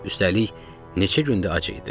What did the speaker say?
Üstəlik, neçə gündü ac idi.